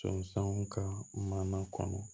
So sanu ka mana kɔnɔ